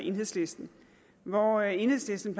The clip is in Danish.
og enhedslisten hvor enhedslisten